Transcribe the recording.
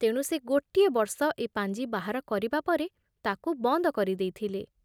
ତେଣୁ ସେ ଗୋଟିଏ ବର୍ଷ ଏ ପାଞ୍ଜି ବାହାର କରିବା ପରେ ତାକୁ ବନ୍ଦ କରି ଦେଇଥିଲେ ।